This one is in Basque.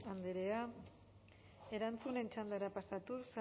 andrea erantzunen txandara pasatuz saez